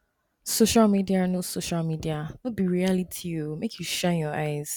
social media no social media no be reality o make you shine your eyes